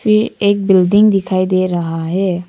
ये एक बिल्डिंग दिखाई दे रहा है।